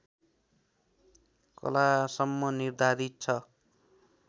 कलासम्म निर्धारित छ